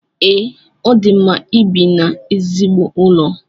Ee, o di mma ibi n’ezigbo ụlọ